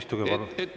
Istuge palun!